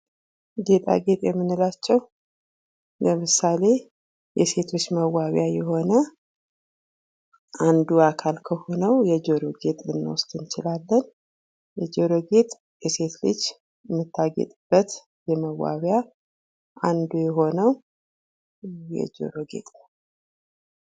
ጌጣጌጥ የምንላቸው ለምሳሌ የሴቶች መዋቢያ የሆነ አንዱ አካል ከሆነው የጆሮ ጌጥ ልንወስድ እንችላለን። ጆሮ ጌጥ የሴት ልጅ የምታጌጥበት መዋቢያ አንዱ የሆነው የጆሮ ጌጥ ነው።